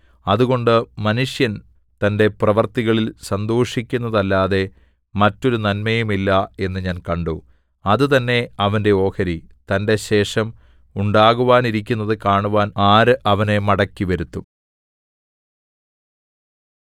അതുകൊണ്ട് മനുഷ്യൻ തന്റെ പ്രവൃത്തികളിൽ സന്തോഷിക്കുന്നതല്ലാതെ മറ്റൊരു നന്മയുമില്ല എന്ന് ഞാൻ കണ്ടു അത് തന്നെ അവന്റെ ഓഹരി തന്റെശേഷം ഉണ്ടാകാനിരിക്കുന്നതു കാണുവാൻ ആര് അവനെ മടക്കിവരുത്തും